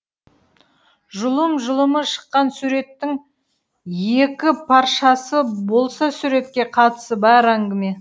жұлым жұлымы шыққан суреттің екі паршасы болса суретке қатысы бар әңгіме